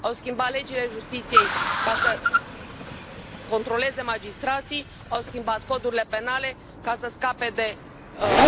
Au schimbat legile justiției ca să controleze magistrații, au schimbat codurile penale ca să scape de